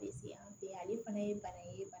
Bɛ se an fɛ yan ale fana ye bana ye